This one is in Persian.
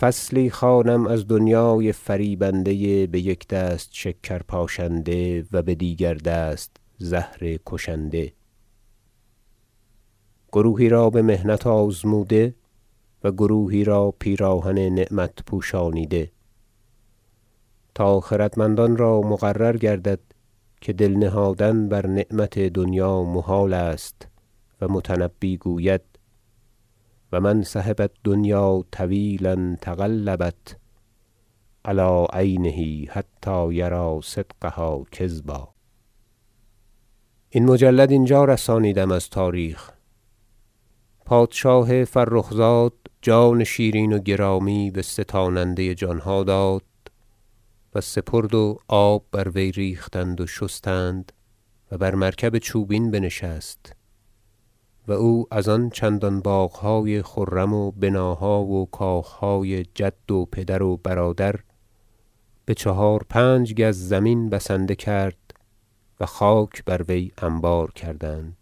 فصل در معنی دنیا فصلی خوانم از دنیای فریبنده بیک دست شکر پاشنده و بدیگر دست زهر کشنده گروهی را بمحنت آزموده و گروهی را پیراهن نعمت پوشانیده تا خردمندان را مقرر گردد که دل نهادن بر نعمت دنیا محال است و متنبی گوید شعر و من صحب الدنیا طویلا تقلبت علی عینه حتی یری صدقها کذبا این مجلد اینجا رسانیدم از تاریخ پادشاه فرخ زاد جان شیرین و گرامی بستاننده جانها داد و سپرد و آب بر وی ریختند و شستند و بر مرکب چوبین بنشست و او از آن چندان باغهای خرم و بناها و کاخهای جد و پدر و برادر بچهار پنج گز زمین بسنده کرد و خاک بر وی انبار کردند